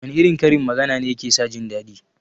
Wana irin karin magana ne yake sa jindaɗi?